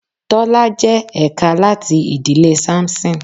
Tọ́lá jẹ́ ẹ̀ka láti ìdílé Samson.